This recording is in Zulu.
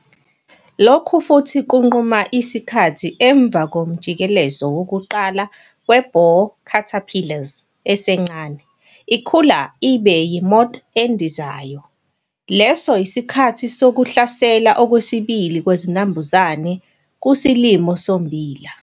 Lokhu futhi kunquma isikhathi emva komjikelezo wokuqala we-borer caterpillars' esencane ikhula iba yi-moth endizayo leso yisikhathi sokuhlasela kwesibili kwezinambuzane kusilimo sommbila.